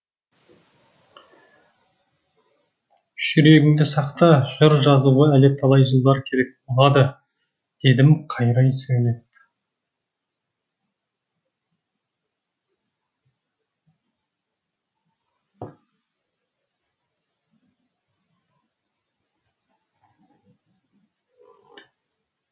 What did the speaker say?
жүрегіңді сақта жыр жазуға әлі талай жылдар керек болады дедім қайрай сөйлеп